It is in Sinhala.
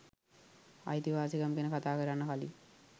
අයිතිවාසිකම් ගැන කතා කරන්න කලින්